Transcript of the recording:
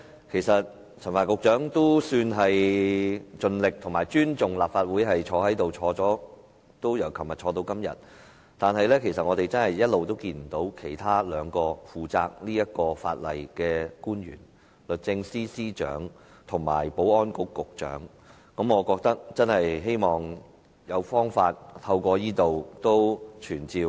其實陳帆局長也算是盡力和尊重立法會，昨天和今天均有出席會議，但我們一直看不見負責這項法例的兩名官員，即律政司司長及保安局局長，我希望藉此機會在這裏傳召......